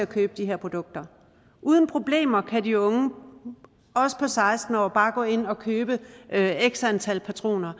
købe de her produkter uden problemer kan de unge også på seksten år bare gå ind og købe x antal patroner